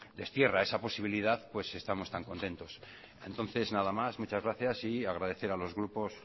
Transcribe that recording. destierra esa posibilidad pues estamos tan contentos entonces nada más muchas gracias y agradecer a los grupos